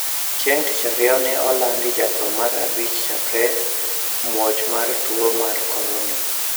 Chieng` tich ariyo ne olandi jatho mar abich chakre muoch mar tuo mar Korona